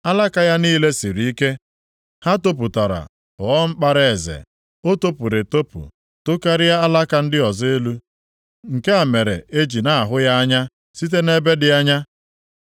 Alaka ya niile siri ike, ha topụtara ghọọ mkpara eze. O topụrụ etopụ, tokarịa alaka ndị ọzọ elu. Nke a mere e ji na-ahụ ya anya site nʼebe dị anya.